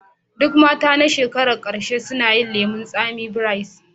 Duk matan shekara na ƙarshe suna yin lemun tsami braids